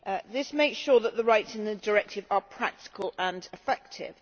This makes sure that the rights in the directive are practical and effective.